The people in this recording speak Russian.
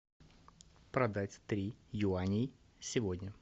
продать три юаней сегодня